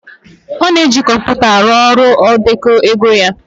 Ọ na-eji kọmpụta arụ ọrụ ndekọ ego ya